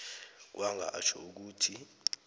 kwanga atjho ukuthi